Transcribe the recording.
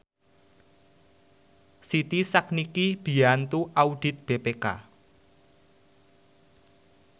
Siti sakniki mbiyantu audit BPK